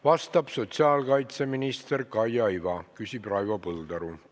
Vastab sotsiaalkaitseminister Kaia Iva, küsib Raivo Põldaru.